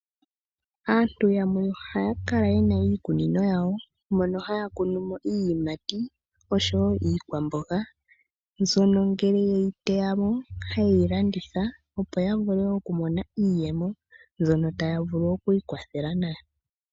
Aantu yamwe ohaya kala yena iikunino yawo, mono haya kunu mo iiyimati osho wo iikwamboga mbyono ngele weyi teya mo, hayi landithwa opo ya vule oku mona iiyemo, mbyono taya vulu oku ikwathela nayo.